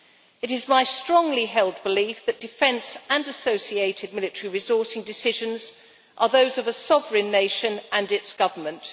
It is my strongly held belief that defence and associated military resourcing decisions are those of a sovereign nation and its government.